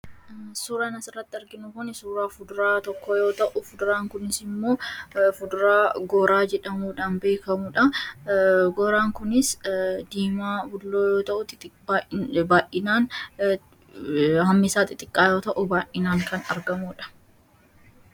Suuraan asirratti arginu Kun, suuraa fuduraa tokkoo yoo ta'u, fuduraan kunis immoo fuduraa goraa jedhamuun beekamudha. Goraan kunis diimaa bulloo xixiqqoo yoo ta'u, baayyinaan hammi isaa xixiqqaa yoo ta'u baayyinaan kan argamudha.